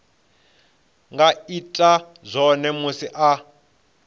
nga ita zwone musi a